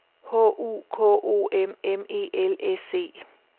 H U K O M M E L S E